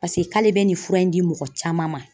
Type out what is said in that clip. Paseke k'ale be nin fura in di mɔgɔ caman ma.